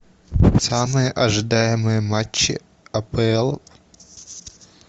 самые ожидаемые матчи апл